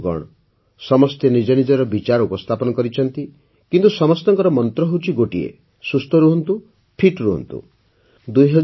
ବନ୍ଧୁଗଣ ସମସ୍ତେ ନିଜ ନିଜ ବିଚାର ଉପସ୍ଥାପନ କରିଛନ୍ତି କିନ୍ତୁ ସମସ୍ତଙ୍କର ମନ୍ତ୍ର ଗୋଟିଏ ସୁସ୍ଥ ରହନ୍ତୁ ଫିଟ୍ ରହନ୍ତୁ